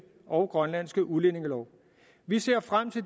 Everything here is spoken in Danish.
og grønlandske udlændingelov vi ser frem til